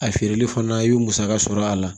A feereli fana i bi musaka sɔrɔ a la